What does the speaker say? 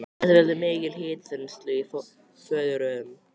Þetta veldur mikilli hitaþenslu í fóðurrörum.